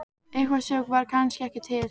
Eitthvað sem var kannski ekki til.